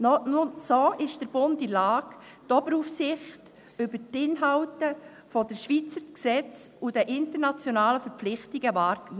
Nur so ist der Bund in der Lage, die Oberaufsicht über die Inhalte der Schweizer Gesetze und der internationalen Verpflichtungen nachzukommen.